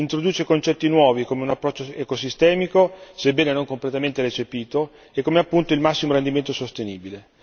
Introduce concetti nuovi come un approccio ecosistemico, sebbene non completamente recepito come appunto il massimo rendimento sostenibile.